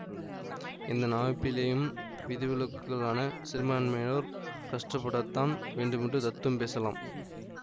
எந்த அமைப்பிலேயும் விதிவிலக்குகளான சிறுபான்மையோர் கஷ்டப்படத்தான் வேண்டுமென்று தத்துவம் பேசலாம்